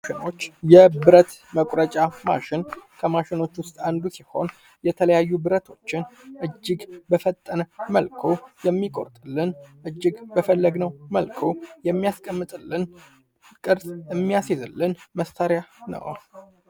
ማሸኖች የብረት መቁረጫ ማሽን ከማሽኖች ውስጥ አንዱ ሲሆን የተለያዩ ብረቶችን እጅግ በፈጠነ መልኩ የሚቆርጥልን እጅግበፈለግነው መልኩ የሚያስቀምጥልን ቅርጽ የሚያስዝልን መሳሪያ ነው።